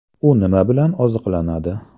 U nima bilan oziqlanadi?